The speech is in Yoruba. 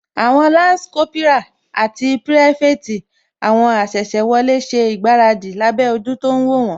Àwọn lansi Kópírà àti pirafeti àwọn asese wọlé ṣe ìgbáradì lábẹ́ ojú tó ń wó wón